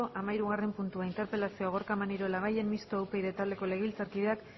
hamahirugarren puntua interpelazioa gorka maneiro labayen mistoa upyd taldeko legebiltzarkideak